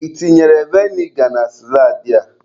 Ị tinyere vinegar na saladị a?